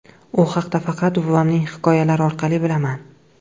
U haqda faqat buvamning hikoyalari orqali bilaman.